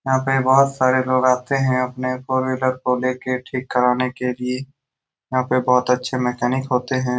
यहाँ पर बहुत सारे लोग आते हैं अपने फोर व्हीलर को लेके ठीक कराने के लिए यहाँ पे बहुत अच्छे मैकेनिक होते है ।